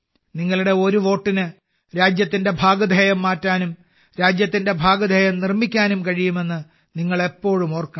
നിങ്ങളുടെ ഒരു വോട്ടിന് രാജ്യത്തിന്റെ ഭാഗധേയം മാറ്റാനും രാജ്യത്തിന്റെ ഭാഗധേയം നിർമ്മിക്കാനും കഴിയുമെന്ന് നിങ്ങൾ എപ്പോഴും ഓർക്കണം